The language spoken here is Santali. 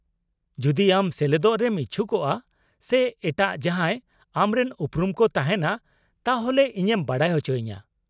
-ᱡᱩᱫᱤ ᱟᱢ ᱥᱮᱞᱮᱫᱚᱜ ᱨᱮᱢ ᱤᱪᱪᱷᱩᱠᱚᱜᱼᱟ ᱥᱮ ᱮᱴᱟᱜ ᱡᱟᱦᱟᱸᱭ ᱟᱢᱨᱮᱱ ᱩᱯᱩᱨᱩᱢ ᱠᱚ ᱛᱟᱦᱮᱸᱱᱟ, ᱛᱟᱦᱚᱞᱮ ᱤᱧᱮᱢ ᱵᱟᱰᱟᱭ ᱚᱪᱚᱭᱤᱧᱟ ᱾